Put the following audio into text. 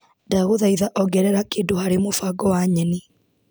Ndagũthaitha ongerere kĩndũ harĩ mũbango wa nyeni.